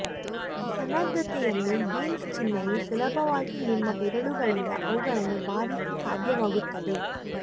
ಸನ್ನದ್ಧತೆಯನ್ನು beans ಚಿಹ್ನೆಯು ಸುಲಭವಾಗಿ ನಿಮ್ಮ ಬೆರಳುಗಳಿಂದ ಅವುಗಳನ್ನು ಬಾರಿಸಿ ಸಾಧ್ಯವಾಗುತ್ತದೆ